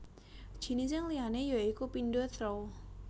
Jinising liyané ya iku pindo throw